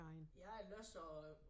Ja jeg læser og øh